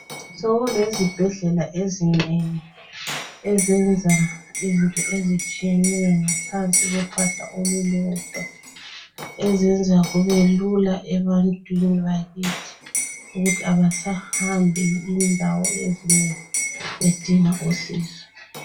Sokulezibhedlela ezinengi ezenza izinto ezitshiyeneyo ngaphansi kophahla olulodwa, ezenza kubelula ebantwini bakithi ukuthi abasahambi indawo ezinengi bedinga usizo.